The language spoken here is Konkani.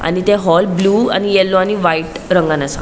आणि ते हॉल ब्लू आणि येलो आणि व्हाइट रंगान असा.